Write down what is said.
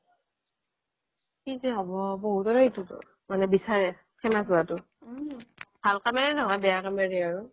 কি যে হ'ব বহুতে মানে বিছাৰে famous হোৱাটো ভাল কামৰে নহয় বেয়া কামেৰে আৰু